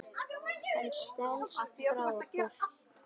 Hann stelst frá okkur.